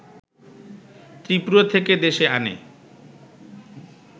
ত্রিপুরা থেকে দেশে এনে